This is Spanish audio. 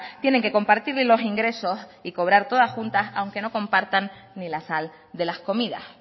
tienen que compartir los ingresos y cobrar todas juntas aunque no compartan ni la sal de las comidas